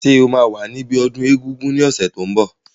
Ṣé o máa wà níbi ọdún egungun ní ọ̀sẹ̀ tó n bọ̀?